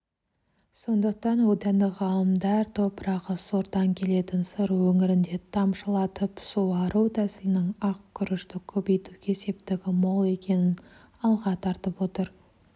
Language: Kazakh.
сондықтан отандық ғалымдар топырағы сортаң келетін сыр өңірінде тамшылатып суару тәсілінің ақ күрішті көбейтуге септігі мол екенін алға тартып отыр